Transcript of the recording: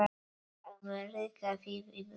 Að reka þig í burtu!